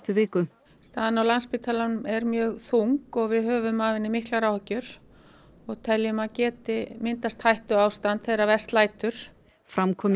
viku staðan á Landspítalanum er mjög þung og við höfum af henni miklar áhyggjur og teljum að geti myndast hættuástand þegar verst lætur fram kom